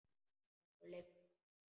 Okkur liggur ekkert á